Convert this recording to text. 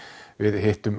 við hittum